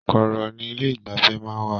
Kọọrọ ní ilé igbafẹ̀ máa n wà.